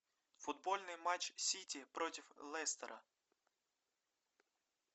футбольный матч сити против лестера